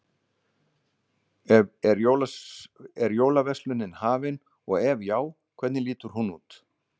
Er jólaverslunin hafin og ef já, hvernig lítur hún út?